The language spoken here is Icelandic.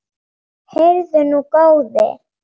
Heyrðu nú, góði!